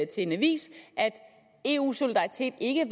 til en avis at eu solidaritet ikke er